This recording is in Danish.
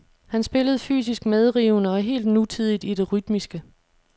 Han spillede fysisk medrivende og helt nutidigt i det rytmiske.